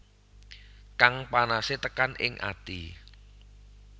Kang panase tekan ing ati